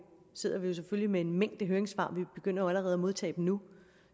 sidder vi selvfølgelig med en mængde høringssvar vi begynder jo allerede at modtage dem nu